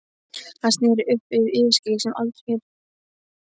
Hann sneri upp á yfirskeggið sem aldrei fyrr.